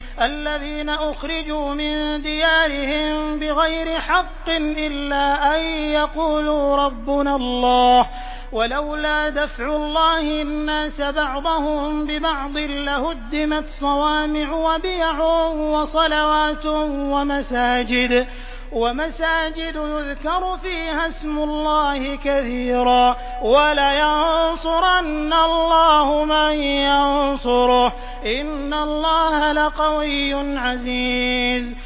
الَّذِينَ أُخْرِجُوا مِن دِيَارِهِم بِغَيْرِ حَقٍّ إِلَّا أَن يَقُولُوا رَبُّنَا اللَّهُ ۗ وَلَوْلَا دَفْعُ اللَّهِ النَّاسَ بَعْضَهُم بِبَعْضٍ لَّهُدِّمَتْ صَوَامِعُ وَبِيَعٌ وَصَلَوَاتٌ وَمَسَاجِدُ يُذْكَرُ فِيهَا اسْمُ اللَّهِ كَثِيرًا ۗ وَلَيَنصُرَنَّ اللَّهُ مَن يَنصُرُهُ ۗ إِنَّ اللَّهَ لَقَوِيٌّ عَزِيزٌ